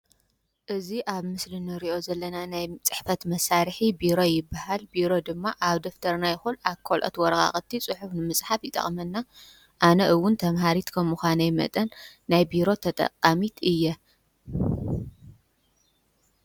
እዙይ አብ ምስሊ እንሪኦ ዘለና ናይ ፅሕፈት መሳርሒ ቢሮ ይበሃል። ቢሮ ድማ አብ ደፍተርና ይኹን አብ ካልኦት ወረቃቅቲ ፅሑፍ ንምፅሓፍ ይጠቕመና። አነ እዉን ተምሃሪት ከም ምዃነይ መጠን ናይ ቢሮ ተጠቃሚት እየ።